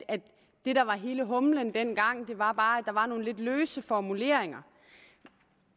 det der var hele humlen dengang bare var at der var nogle lidt løse formuleringer